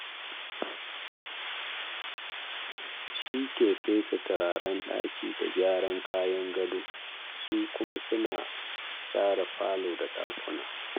Shi ke fesa turaren daki da gyara kayan gado, su kuma suna share falo da dakuna.